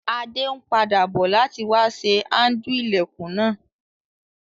Adé n padà bo láti wa sé handle ilẹ́kùn náà